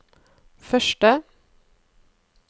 første